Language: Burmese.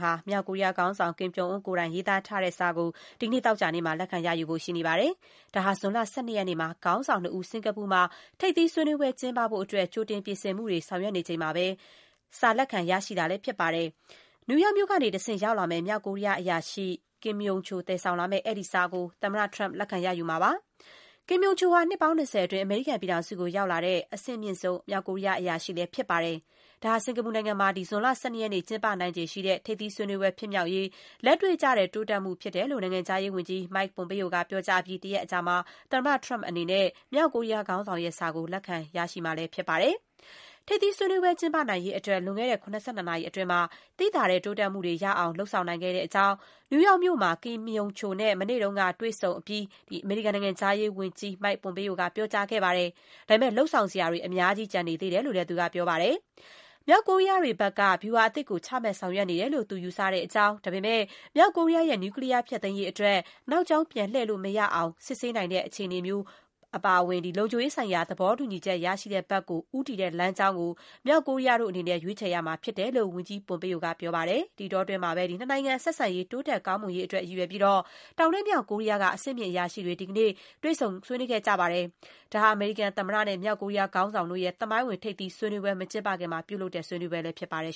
ဟာ မြောက်ကိုရီးယားခေါင်းဆောင် Kim Jong Un ကိုယ်တိုင် ရေးသားထားတဲ့စာကို ဒီကနေ့ သောကြာနေ့မှာ လက်ခံ ရယူဖို့ ရှိနေပါတယ်။ ဒါဟာ ဇွန်လ ၁၂ ရက်နေ့မှာ ခေါင်းဆောင် ၂ ဦး စင်္ကာပူနိုင်ငံမှာ ထိပ်သီးစည်းဝေးပွဲ ကျင်းပဖို့ အတွက် ကြိုတင် ပြင်ဆင်မှုတွေ ဆောင်ရွက်နေချိန်မှာ စီစာကို စာလက်ခံ ရရှိမှာလည်း ဖြစ်ပါတယ်။ နယူးယောက်မြို့ကတဆင့် ရောက်လာမယ့် မြောက်ကိုရီးယားအရာရှိ Kim Yong Chol သယ်ဆောင်လာမယ့် အဲဒီစာကို သမ္မတ Trump လက်ခံ ရယူမှာလည်း ဖြစ်ပါတယ်။ Kim Yong Chol ဟာ နှစ်ပေါင်း ၂၀ အတွင်း အမေရိကန်ပြည်ထောင်စုကို ရောက်လာတဲ့ အဆင့်အမြင့်ဆုံး မြောက်ကိုရီးယား အရာရှိလည်း ဖြစ်ပါတယ်။ ဒါဟာ စင်ကာပူနိုင်ငံမှာ ဇွန်လ ၁၂ ရက်နေ့ ကျင်းပနိုင်ခြေရှိတဲ့ထိပ်သီး စည်းဝေးပွဲ ဖြစ်မြောက်ရေး လက်တွေ့ကျတဲ့ တိုးတက်မှုဖြစ်ကြောင်း နိုင်ငံခြားရေးဝန်ကြီး Mike Pompeo က ပြောကြားအပြီး တရက်အကြာမှာ သမ္မတ Trump အနေနဲ့ မြောက်ကိုရီးယားခေါင်းဆောင်ရဲ့ စာကို လက်ခံ ရရှိမှာလည်း ဖြစ်ပါတယ်။ ထိပ်သီးစည်းဝေး ကျင်းပနိုင်ရေးအတွက် လွန်ခဲ့တဲ့ ၇၂ နာရီအတွင်း သိသာတဲ့ တိုးတက်မှုတွေ ရရှိအောင် လုပ်ဆောင်နိုင်ခဲ့ကြောင်း နယူးယောက်မြို့မှာ Kim Yong Chol နဲ့ မနေ့က တွေ့ဆုံအပြီး အမေရိကန်နိုင်ငံခြားရေးဝန်ကြီး Mike Pompeo က ပြောကြားခဲ့ပါတယ်။ ဒါပေမယ့် လုပ်ဆောင်စရာတွေ အများကြီး ကျန်သေးကြောင်း သူက ဆက်ပြောခဲ့ပါတယ်။ မြောက်ကိုရီးယားတို့ဘက်က ဗြူဟာအသစ်ကို ချမှတ် ဆောင်ရွက်နေတယ်လို့ သူယူဆကြောင်း၊ ဒါပေမယ့် မြောက်ကိုရီးယားရဲ့ နြူကလီးယား ဖျက်သိမ်းရေးအတွက် နောက်ကြောင်း ပြန်လှည့်လို့ မရနိုင်အောင် စစ်ဆေးနိုင်တဲ့ အခြေအနေမျိုးပါဝင် လုံခြုံရေးဆိုင်ရာ သဘောတူညီချက် ရရှိတဲ့ဘက်ကို ဦးတည်တဲ့ လမ်းကြောင်းကို မြောက်ကိုရီးယားတို့အနေနဲ့ ရွေးချယ်ရမှာဖြစ်ကြောင်း ဝန်ကြီး Pompeo က ပြောပါတယ်။ နှစ်နိုင်ငံ ဆက်ဆံရေး တိုးတက်ကောင်းမွန်ရေးအတွက် ရည်ရွယ်ပြီး တောင်နဲ့ မြောက်ကိုရီးယားကအဆင့်မြင့် အရာရှိတွေ ဒီကနေ့ တွေ့ဆုံ ဆွေးနွေးခဲ့ကြပါတယ်။ ဒါဟာ အမေရိကန်သမ္မတ Donald Trump နဲ့ မြောက်ကိုရီးယားခေါင်းဆောင် Kim Jong Un တို့ရဲ့ သမိုင်းဝင် ထိပ်သီး စည်းဝေးပွဲ မကျင်းပခင်မှာ ပြုလုပ်တဲ့ စည်းဝေးပွဲလည်း ဖြစ်ပါတယ်